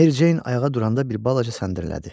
Mericeyn ayağa duranda bir balaca səndirlədi.